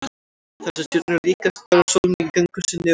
þessar stjörnur eru líkastar sólinni í göngu sinni um himininn